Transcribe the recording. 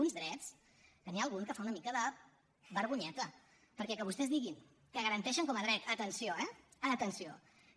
uns drets que n’hi ha algun que fa una mica de vergonyeta perquè que vostès diguin que garanteixen com a dret atenció eh atenció